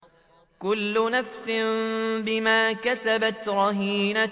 كُلُّ نَفْسٍ بِمَا كَسَبَتْ رَهِينَةٌ